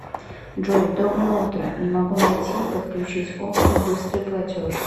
джой доброе утро не могу найти подключить опцию быстрый платеж